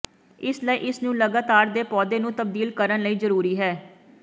ਇਸ ਲਈ ਇਸ ਨੂੰ ਲਗਾਤਾਰ ਦੇ ਪੌਦੇ ਨੂੰ ਤਬਦੀਲ ਕਰਨ ਲਈ ਜ਼ਰੂਰੀ ਹੈ